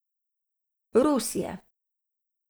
Rus je.